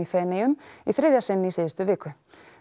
Feneyjum í þriðja sinn í síðustu viku